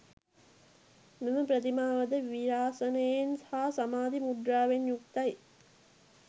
මෙම ප්‍රතිමාවද වීරාසනයෙන් හා සමාධි මුද්‍රාවෙන් යුක්තයි.